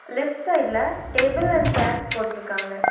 Left சைடுல table and chairs போட்ருக்காங்க.